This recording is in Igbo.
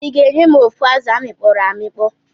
Iga enyem ofu azụ amikpoọ amikpọ?